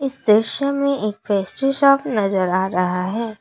इस दृश्य में एक पेस्ट्री शॉप नजर आ रहा है।